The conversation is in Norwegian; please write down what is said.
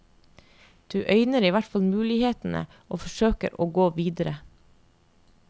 Du øyner i hvert fall mulighetene og forsøker å gå videre.